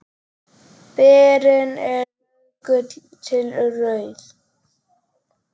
Berin eru rauðgul til rauð.